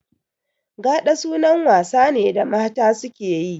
Gaɗa sunan wasa ne da mata suke yi